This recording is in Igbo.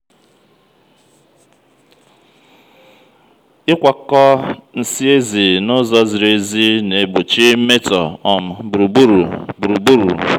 ị́kwàkọ́ nsị́ èzi na úzó n'zírí ézì n'egbochi mmetọ um gburugburu. gburugburu.